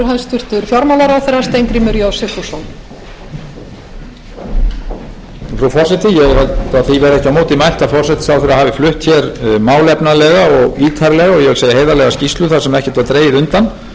verði ekki á móti mælt að forsætisráðherra hafi flutt hér málefnalega og ítarlega og ég vil segja heiðarlega skýrslu þar sem ekkert var dregið undan